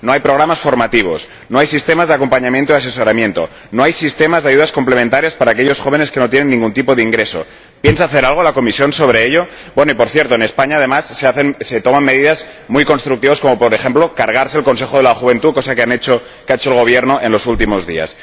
No hay programas formativos, no hay sistemas de acompañamiento y asesoramiento, no hay sistemas de ayudas complementarias para aquellos jóvenes que no tienen ningún tipo de ingreso ¿Piensa hacer algo la Comisión sobre ello? Y, por cierto, en España, además, se toman medidas muy constructivas como, por ejemplo, suprimir el Consejo de la Juventud, cosa que ha hecho el Gobierno en los últimos días.